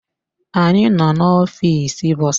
Anyị nọ n'ọfịs bọsa